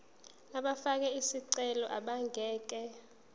abafake izicelo abangeke